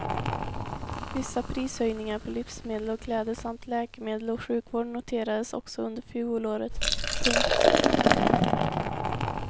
Vissa prishöjningar på livsmedel och kläder samt läkemedel och sjukvård noterades också under fjolåret. punkt